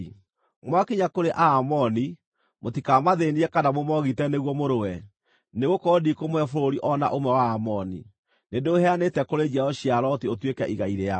Mwakinya kũrĩ Aamoni, mũtikamathĩĩnie kana mũmoogite nĩguo mũrũe, nĩgũkorwo ndikũmũhe bũrũri o na ũmwe wa Aamoni. Nĩndĩũheanĩte kũrĩ njiaro cia Loti ũtuĩke igai rĩao.”